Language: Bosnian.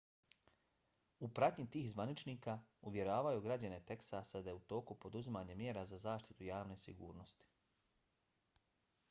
u pratnji tih zvaničnika uvjeravao je građane teksasa da je u toku poduzimanje mjera za zaštitu javne sigurnosti